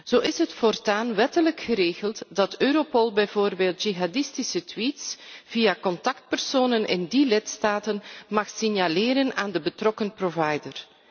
Zo is het voortaan wettelijk geregeld dat Europol bijvoorbeeld jihadistische tweets via contactpersonen in die lidstaten mag signaleren aan de betrokken provider.